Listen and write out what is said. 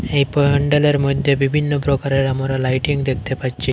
এই পড়ানডালের মধ্যে বিভিন্ন প্রকারের আমরা লাইটিং দেখতে পাচ্ছি।